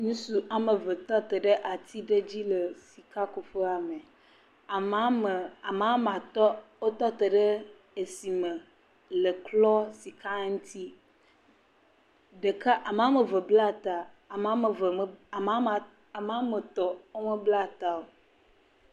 Ŋutsu woame eve tɔ te ɖe ati ɖe dzi sika kuƒea me. Amewo me, amewo me atɔ wotɔ te ɖe etsi me le klɔ sika, ɖeka. Ame woame eve bla ta, ame woame eve em, ame woame etɔ wo me bla ta o.